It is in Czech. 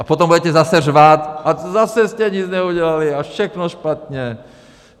A potom budete zase řvát: a zase jste nic neudělali a všechno špatně!